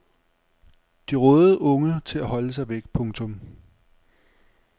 De rådede unge til at holde sig væk. punktum